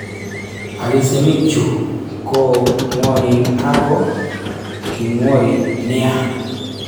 Alisenik chu ko ng'wonen ako kingwori nia